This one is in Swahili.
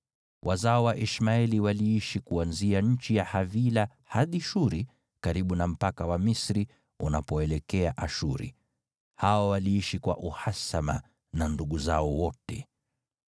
Wazao wa Ishmaeli waliishi kuanzia nchi ya Havila hadi Shuri, karibu na mpaka wa Misri, unapoelekea Ashuru. Hao waliishi kwa uhasama na ndugu zao wote.